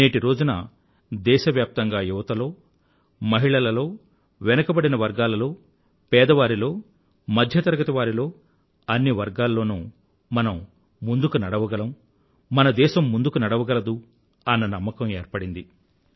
నేటి రోజున దేశవ్యాప్తంగా యువతలో మహిళలలో వెనుకబడిన వర్గాలలో పేదవారిలో మధ్యతరగతి వారిలో అన్ని వర్గాలలోనూ మనం ముందుకు నడవగలము మన దేశం ముందుకు నడవగలదు అన్న నమ్మకం ఏర్పడింది